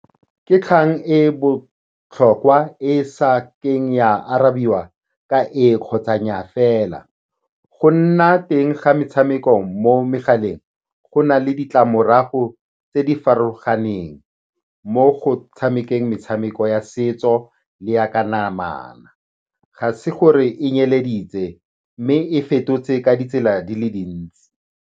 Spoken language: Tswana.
Ke kgang e e botlhokwa e sa keng ya arabiwa ka ee kgotsa nnyaa fela. Go nna teng ga metshameko mo megaleng go na le ditlamorago tse di farologaneng mo go tshamekeng metshameko ya setso le ya ka namana. Ga se gore e nyeleditse, mme e fetotse ka ditsela di le dintsi.